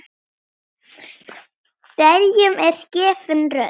Hverjum er gefin rödd?